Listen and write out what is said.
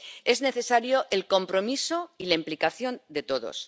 Es necesario el compromiso y la implicación de todos.